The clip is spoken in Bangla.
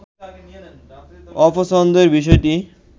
অপছন্দের বিষয়টি